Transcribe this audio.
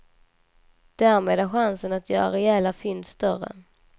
Därmed är chansen att göra rejäla fynd större.